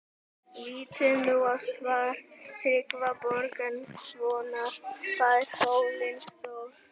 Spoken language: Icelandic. Lítum nú á svar Tryggva Þorgeirssonar, Hvað er sólin stór?